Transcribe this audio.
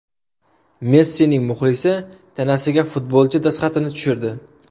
Messining muxlisi tanasiga futbolchi dastxatini tushirdi.